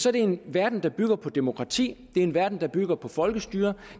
er det en verden der bygger på demokrati det er en verden der bygger på folkestyre